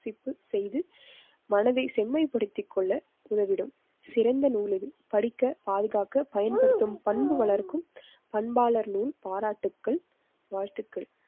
செய்து மனதை செம்மைப்படுத்திக் கொள்ள உதவிடும் சிறந்த நூல் இது. படிக்க பாதுகாக்க பயன்படுத்தும் பண்பு வளர்க்கும் பண்பாளர் பாராட்டுக்கள் வாழ்த்துக்கள்.